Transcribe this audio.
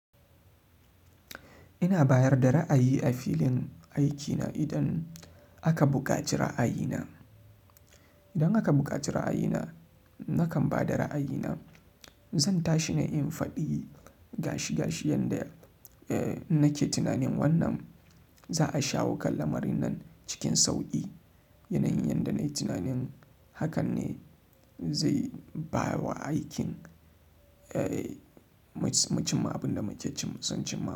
Ina bayar da ra'ayi a filin aikina idan aka buƙaci ra'ayina. Idan aka buƙaci ra'ayina, nakan ba da ra'ayina. Zan tashi na yi faɗi gashi gashi yanda, eh, nake tunanin wannan za'a shawo kanlamarin nan cikin sauƙi. Yana yin yanda na yi tunanin hakan ne zai ba wa aikin, eh, mushimma abin da muke cin sun cimma.